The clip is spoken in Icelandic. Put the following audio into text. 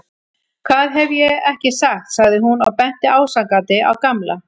Hvað hef ég ekki sagt sagði hún og benti ásakandi á Gamla.